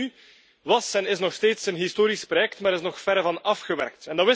De EMU was en is nog steeds een historisch project, maar is nog verre van afgewerkt.